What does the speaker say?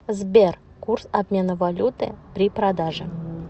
сбер курс обмена валюты при продаже